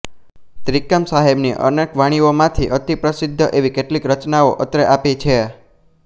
ત્રિકમ સાહેબની અનેક વાણીઓમાંથી અતિપ્રસિદ્ધ એવી કેટલીક રચનાઓ અત્રે આપી છે